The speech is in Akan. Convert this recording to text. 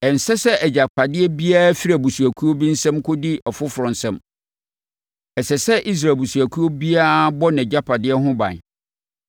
Ɛnsɛ sɛ agyapadeɛ biara firi abusuakuo bi nsam kɔdi ɔfoforɔ nsam, ɛsɛ sɛ Israel abusuakuo biara bɔ nʼagyapadeɛ ho ban.”